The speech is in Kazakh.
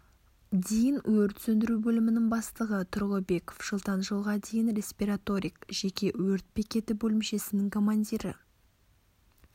дейін өрт сөндіру бөлімінің бастығы тұрлыбеков жылдан жылға дейін респираторик жеке өрт бекеті бөлімшесінің командирі